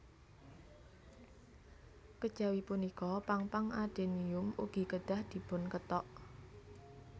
Kejawi punika pang pang adenium ugi kedah dipunkethok